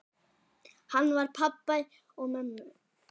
Hann var pabbi mömmu.